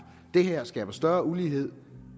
det her skaber større ulighed